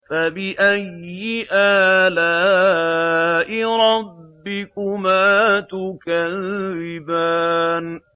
فَبِأَيِّ آلَاءِ رَبِّكُمَا تُكَذِّبَانِ